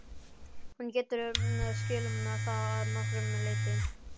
Hún getur skilið það að nokkru leyti.